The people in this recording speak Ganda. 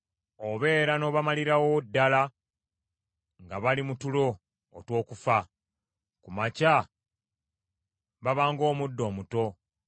Obeera n’obamalirawo ddala nga bali mu tulo otw’okufa. Ku makya baba ng’omuddo omuto.